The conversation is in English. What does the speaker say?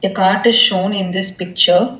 The cart is shown in this picture.